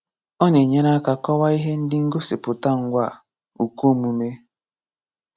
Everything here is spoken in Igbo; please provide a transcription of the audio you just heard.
Ọ na-enyere aka kọwaa ihe ndi ngosipụta Ngwaa (ukomume).